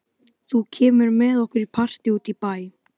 Þú kemur með okkur í partí út í bæ.